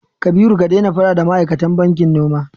Kabiru ka daina faɗa da ma'aikatan bankin noma!